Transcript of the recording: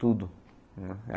Tudo.